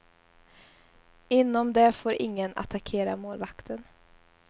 Inom det får ingen attackera målvakten.